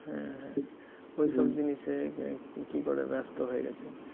হ্যা হ্যা ওই সব জিনিসে কী করে ব্যস্ত হয়ে গেছে